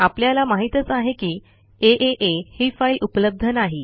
आपल्याला माहितच आहे की आ ही फाईल उपलब्ध नाही